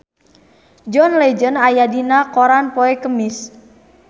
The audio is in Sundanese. John Legend aya dina koran poe Kemis